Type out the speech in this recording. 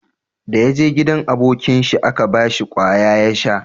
Da ya je gidan abokin shi a Ka bashi kwaya ya sha